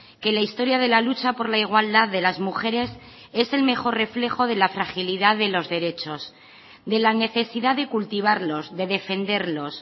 que la historia de la lucha por la igualdad de las mujeres es el mejor reflejo de la fragilidad de los derechos de la necesidad de cultivarlos de defenderlos